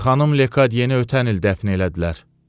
Xanım Lekadyeni ötən il dəfn elədilər.